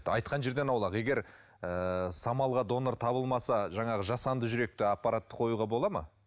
айтқан жерден аулақ егер ы самалға донор табылмаса жаңағы жасанды жүректі аппаратты қоюға болады ма